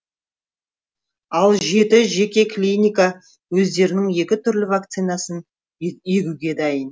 ал жеті жеке клиника өздерінің екі түрлі вакцинасын егуге дайын